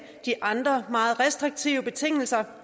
de andre meget restriktive betingelser